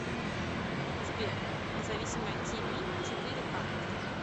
сбер независимое ти ви четыре ка